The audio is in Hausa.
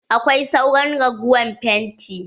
Akwai sauran ragowar fenti?